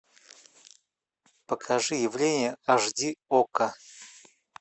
покажи явление аш ди окко